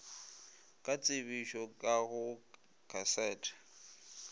ka tsebišo ka go kasete